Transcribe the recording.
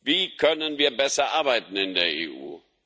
Wie können wir besser arbeiten in der EU?